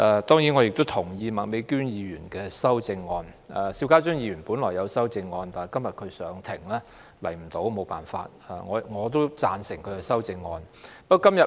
當然，我也同意麥美娟議員的修正案；邵家臻議員本來也提出了修正案，但他今天要上庭，所以沒有辦法出席，我同樣贊成他的修正案。